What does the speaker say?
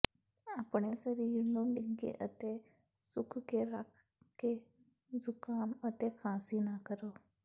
ਆਪਣੇ ਸਰੀਰ ਨੂੰ ਨਿੱਘੇ ਅਤੇ ਸੁੱਕ ਕੇ ਰੱਖ ਕੇ ਜ਼ੁਕਾਮ ਅਤੇ ਖਾਂਸੀ ਨਾ ਕਰੋ